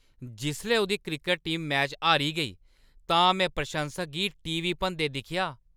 जिसलै उʼदी cricket team match हारी गेई तां में प्रशंसक गी टी. वी. भनदे दिक्खेआ।